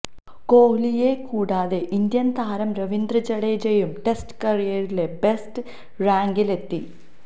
കോഹ്ലിയെക്കൂടാതെ Indian താരം രവീന്ദ്ര ജഡേജയും test കരിയറിലെ ബെസ്റ്റ് റാങ്കിംഗിലെത്തി